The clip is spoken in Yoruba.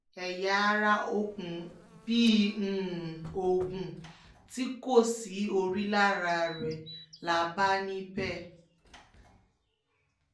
ẹ̀yà ara òkú bíi ogún tí kò sí orí lára rẹ̀ là bá níbẹ̀